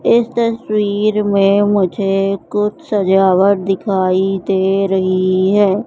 इस तस्वीर में मुझे कुछ सजावट दिखाई दे रही हैं।